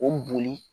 O boli